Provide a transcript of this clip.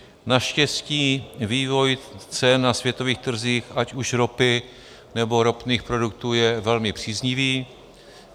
Naštěstí vývoj cen na světových trzích, ať už ropy nebo ropných produktů, je velmi příznivý.